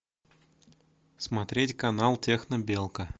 смотреть канал технобелка